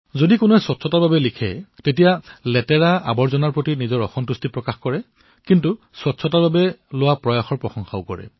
যদি কোনোবাই স্বচ্ছতাৰ বাবে লিখে কিছুমানে লেতেৰাৰ প্ৰতি তেওঁৰ ক্ৰোধ জাহিৰ কৰিলিও স্বচ্ছতাৰ প্ৰতি কৰা প্ৰয়াসকো প্ৰশংসা কৰে